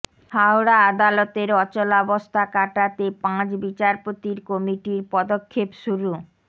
হাওড়া আদালতের অচলাবস্থা কাটাতে পাঁচ বিচারপতির কমিটির পদক্ষেপ শুরু